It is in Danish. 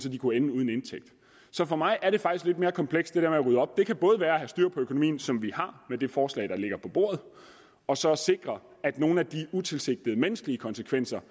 at de kunne ende uden indtægt så for mig er det faktisk lidt mere komplekst det kan både være at have styr på økonomien som vi har med det forslag der ligger på bordet og så sikre at nogle af de utilsigtede menneskelige konsekvenser